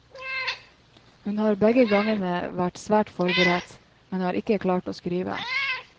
Hun har begge gangene vært svært godt forberedt, men har ikke klart å skrive.